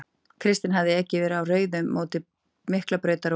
Kristinn hafði ekið yfir á rauðu á mótum Miklubrautar og